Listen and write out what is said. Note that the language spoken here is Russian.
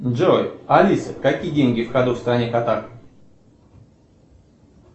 джой алиса какие деньги в ходу в стране катар